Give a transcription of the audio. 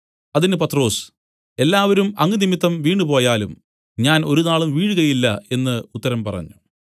അതിന് പത്രൊസ് എല്ലാവരും അങ്ങ് നിമിത്തം വീണുപോയാലും ഞാൻ ഒരുനാളും വീഴുകയില്ല എന്നു ഉത്തരം പറഞ്ഞു